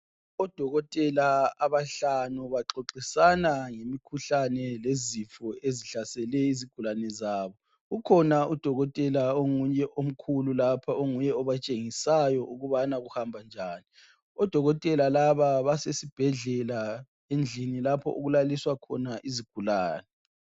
Odokotela abahlanu baxoxisana ngemikhuhlane lezifo ezihlasele izigulane zabo. Ukhona udokotela omunye omkhulu lapho onguye obatshengisayo ukuthi kuhamba njani Odokotela basesibhedlela endlini lapho okulaliswa khona izigulane.